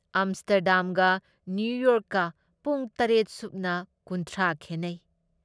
ꯑꯝꯁꯇꯔꯗꯝꯒ ꯅ꯭ꯌꯨꯌꯣꯔꯛꯀ ꯄꯨꯡ ꯇꯔꯦꯠ ꯁꯨꯞꯅ ꯀꯨꯟꯊ꯭ꯔꯥ ꯈꯦꯟꯅꯩ ꯫